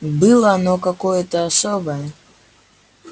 было оно какое-то особое